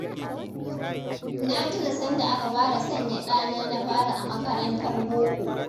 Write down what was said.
Na tuna sanda aka fara sanya ɗana na fari a makarantar boko!